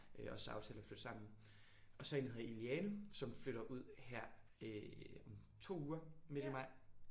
Øh os der aftalte at flytte sammen. Og så en der hedder Iliane som flytter ud her øh om 2 uger midt i maj